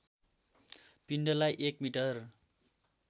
पिण्डलाई एक मिटर